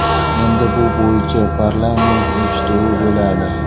Endi bu bo‘yicha parlament eshituvi bo‘ladi.